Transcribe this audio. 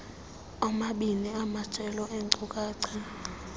oomabini amajelo eenkcukacha